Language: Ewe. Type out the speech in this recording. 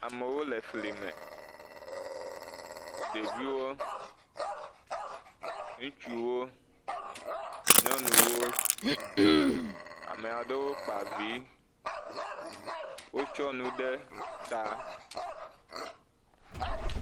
Amewo le fli me, ɖeviwo, ŋutsuwo, nyɔnuwo, ame aɖewo kpa vi wotsɔ nu ɖe ta.